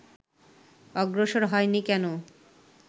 অগ্রসর হয়নি কেন